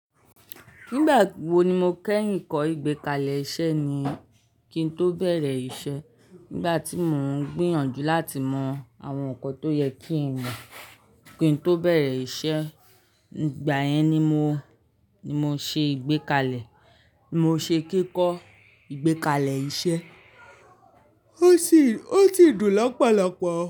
Nígbà wo ni mo kẹ́yìn kọ́ ìgbékalẹ̀ iṣẹ́ ni kí n tó bẹ̀rẹ̀ iṣẹ́ nígbà tí mò ń gbìyànjú láti mọ àwọn ǹkan tó yẹ kí n mọ̀ kí n tó bẹ̀rẹ̀ iṣẹ́. Ìgbà yẹn ni mo, ni mo ṣe ìgbékalẹ̀, mo ṣe kíkọ́ ìgbékalẹ̀ iṣẹ́, ó sì, ó sì dùn lopolopo.